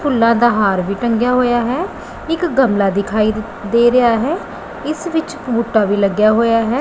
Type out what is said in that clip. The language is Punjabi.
ਫੁੱਲਾਂ ਦਾ ਹਾਰ ਵੀ ਟੰਗਿਆ ਹੋਇਆ ਹੈ ਇੱਕ ਗਮਲਾ ਦਿਖਾਈ ਦੇ ਰਿਹਾ ਹੈ ਇਸ ਵਿੱਚ ਬੂਟਾ ਵੀ ਲੱਗਿਆ ਹੋਇਆ ਹੈ।